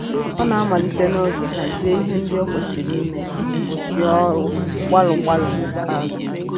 Ọ na-amalite n'oge hazie ihe ndị o kwesịrị ime iji gbochie ọrụ gbalụ gbalụ n'ikpeazụ